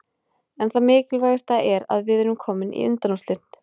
En það mikilvægasta er að við erum komnir í undanúrslitin